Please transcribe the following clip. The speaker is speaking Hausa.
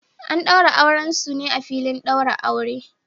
An daura auren su ne a filin daurin aure